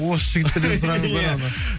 осы жігіттерден сұраңыздар онда